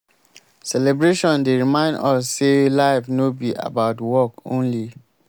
celebration dey remind us sey life no be about work only.